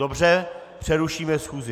Dobře, přerušíme schůzi.